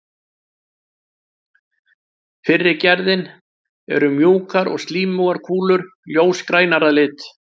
Fyrri gerðin eru mjúkar og slímugar kúlur, ljósgrænar að lit.